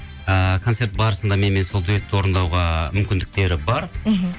ыыы концерт барысында менімен сол дуэтті орындауға мүмкіндіктері бар мхм